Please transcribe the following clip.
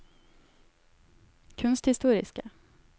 kunsthistoriske